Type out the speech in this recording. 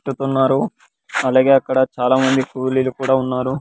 --టుతున్నారు అలాగే అక్కడ చాలా మంది కూలీలు కూడా ఉన్నారు.